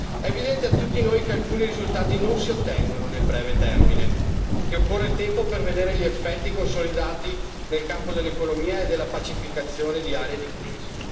È evidente a tutti noi che alcuni risultati non si ottengono nel breve termine, che occorre tempo per vedere gli effetti consolidati nel campo dell'economia e della pacificazione di aree di crisi.